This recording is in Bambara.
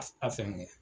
A fɛn kɛ